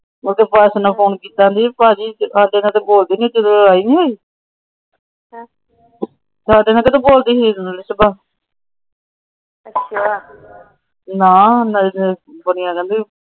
ਓਹੰਦੀ ਸੱਸ ਨੂੰ ਫੋਨ ਕੀਤਾ ਕਹਿੰਦੀ ਭਾਜੀ ਸਾਡੇ ਨਾਲ ਤਾਂ ਬੋਲਦੀ ਨਹੀਂ ਜਦੋ ਆਇ ਨਹੀਂ ਸੀ। ਸਾਡੇ ਨਾਲ ਕਦੋ ਬੋਲਦੀ ਸੀ।